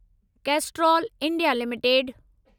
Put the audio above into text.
Castrol India limited